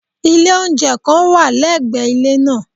Ilé oúnjẹ kan wà lẹ́gbẹ̀ẹ́ ilé nàà